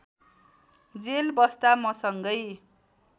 jail बस्दा मसँगै